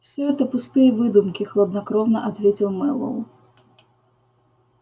всё это пустые выдумки хладнокровно ответил мэллоу